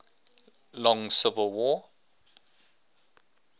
long civil war